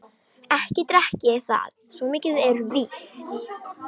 Ekki drekk ég það, svo mikið er víst.